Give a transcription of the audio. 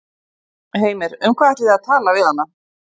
Heimir: Um hvað ætlið þið að tala við hana?